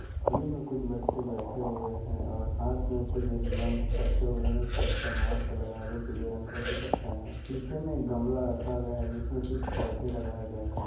जमीन में कुछ बच्चे बैठे हुए हैं और हाथ में कुछ रिब्बन्स रखे हुए हैं बच्चा मास्क लगाए है पीले रंग का टी-शर्ट पेहना है पीछे में गमला रखा गया है जिसमें कुछ पौधे लागए गए हैं।